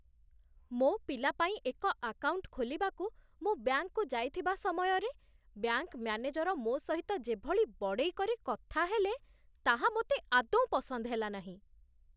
ମୋ ପିଲା ପାଇଁ ଏକ ଆକାଉଣ୍ଟ ଖୋଲିବାକୁ ମୁଁ ବ୍ୟାଙ୍କକୁ ଯାଇଥିବା ସମୟରେ, ବ୍ୟାଙ୍କ ମ୍ୟାନେଜର ମୋ ସହିତ ଯେଭଳି ବଡ଼େଇ କରି କଥା ହେଲେ, ତାହା ମୋତେ ଆଦୌ ପସନ୍ଦ ହେଲାନାହିଁ।